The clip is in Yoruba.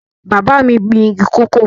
Bàbá mi gbin igi kòkó